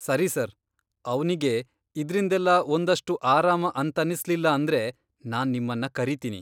ಸರಿ ಸರ್, ಅವ್ನಿಗೆ ಇದ್ರಿಂದೆಲ್ಲ ಒಂದಷ್ಟು ಆರಾಮ ಅಂತನ್ನಿಸ್ಲಿಲ್ಲ ಅಂದ್ರೆ, ನಾನ್ ನಿಮ್ಮನ್ನ ಕರೀತೀನಿ.